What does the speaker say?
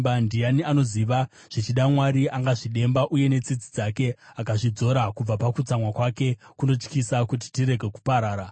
Ndiani anoziva? Zvichida Mwari angazvidemba uye netsitsi dzake akazvidzora kubva pakutsamwa kwake kunotyisa kuti tirege kuparara.”